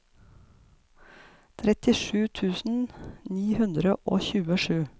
trettisju tusen ni hundre og tjuesju